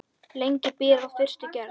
Lengi býr að fyrstu gerð.